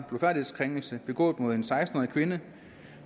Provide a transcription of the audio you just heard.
blufærdighedskrænkelse begået mod en seksten årig kvinde